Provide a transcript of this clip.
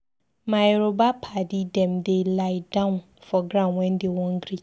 My Yoruba paddy dem dey lie-down for ground wen dey wan greet.